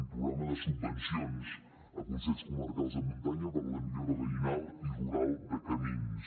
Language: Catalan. un programa de subvencions a consells comarcals de muntanya per a la millora veïnal i rural de camins